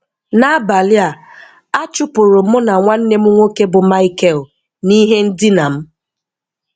N’abalị a, a chụpụrụ mụ na nwanne m nwoke bụ́ Michael n’ihe ndina m.